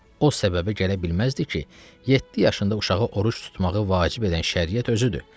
O səbəbə gələ bilməzdi ki, yeddi yaşında uşağı oruc tutmağı vacib edən şəriət özüdür.